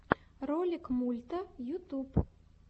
ролик мульта ютуб